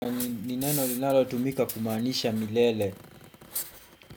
Ni neno linalotumika kumaanisha milele.